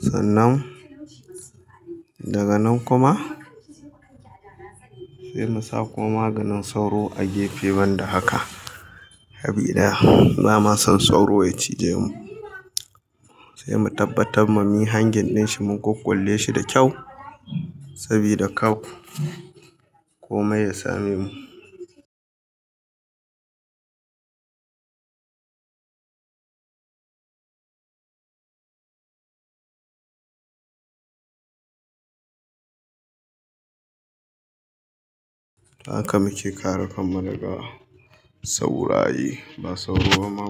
Sannan daga nan kuma sai mu sa ko maganin sauro a gefe ban da haka, sabi da ya, ba ma son sauro ya cije mu. Sai mu tabbatar mami hangen din shi mun kukkulle shi da kyau saboda kar kome ya same mu. Haka muke kare kan mu daga sauraye, ba sauro ma.